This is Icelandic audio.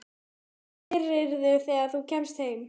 Hvað gerirðu þegar þú kemst heim?